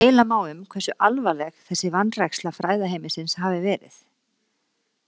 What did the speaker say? Deila má um hversu alvarleg þessi vanræksla fræðaheimsins hafi verið.